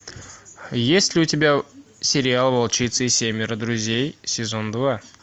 есть ли у тебя сериал волчица и семеро друзей сезон два